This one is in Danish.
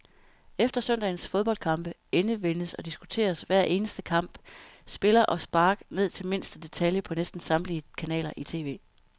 Efter søndagens fodboldkampe endevendes og diskuteres hver eneste kamp, spiller og spark ned til mindste detalje på næsten samtlige kanaler i tv.